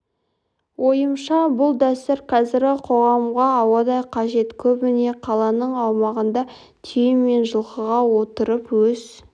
ойымша бұл дәстүр қазіргі қоғамға ауадай қажет көбіне қаланың аумағында түйе мен жылқыға отырып өз